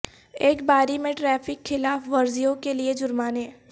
ایک باری میں ٹریفک خلاف ورزیوں کے لئے جرمانے